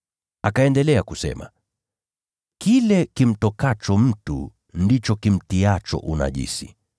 Akaendelea kusema, “Kile kimtokacho mtu ndicho kimtiacho unajisi.